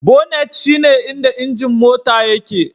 Bonnet shine inda injin Mota yake